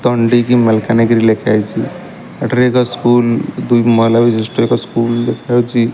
ତଣ୍ଡିକି ମାଲକାନଗିରି ଲେଖାହେଇଚି ଏଠାରେ ଏକ ସ୍କୁଲ ଦୁଇ ମହଲା ବିଶିଷ୍ଟ ଏକ ସ୍କୁଲ ଦେଖାଯାଉଛି।